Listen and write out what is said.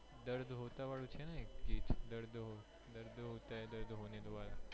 દર્દ હોતા વાળું છે ને એક દર્દ હોતા હે દર્દ હોને દો વાળું